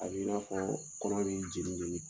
A b'i n'a fɔ kɔnɔ b'i jeni jeni